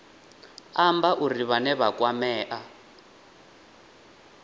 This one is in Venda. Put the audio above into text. amba uri vhane vha kwamea